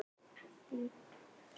Þess vegna hef ég kviðið fyrir.